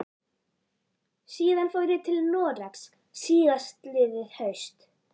Síðan fór ég til Noregs síðastliðið haust.